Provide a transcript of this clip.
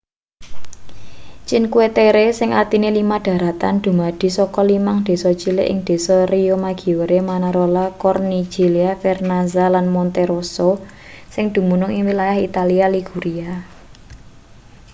cinque terre sing artine lima dharatan dumadi saka limang desa cilik ing desa riomaggiore manarola corniglia vernazza lan monterosso sing dumunung ing wilayah italia liguria